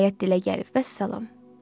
Nəhayət dilə gəlib, vəssalam.